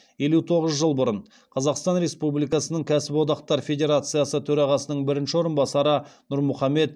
елу тоғыз жыл бұрын қазақстан республикасының кәсподақтар федерациясы төрағасының бірінші орынбасары нұрмұхамбет